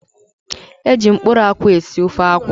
Eji mkpụrụ akwụ esị ofe akwụ.